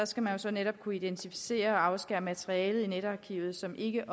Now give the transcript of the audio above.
skal jo så netop kunne identificere og afskære det materiale i netarkivet som ikke